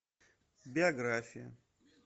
биография